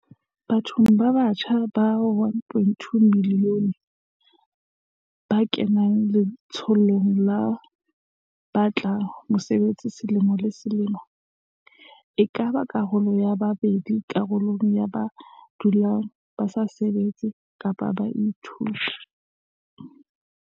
Bathong ba batjha ba 1.2 milione ba kenang letsholong la ho ba tla mesebetsi selemo le se lemo, e ka ba karolo ya pedi borarong ya ba dulang ba sa sebetse kapa ba sa ithute.